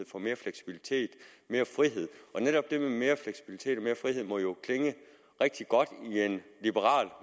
få mere fleksibilitet og mere frihed netop dette med mere fleksibilitet og mere frihed må jo klinge rigtig godt